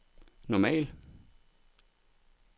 normal